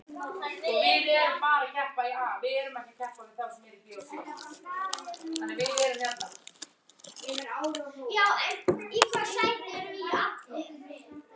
Er til svört kista?